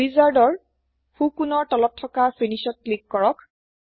ৱিজৰ্দৰ সো কোণ ৰ তলত থকা ফিনিশ ত ক্লিক কৰক